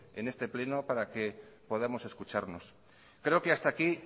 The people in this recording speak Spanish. en este pleno para que podamos escucharnos creo que hasta aquí